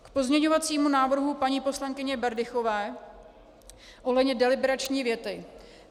K pozměňovacímu návrhu paní poslankyně Berdychové ohledně deliberační věty.